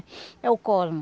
É o Cosmo.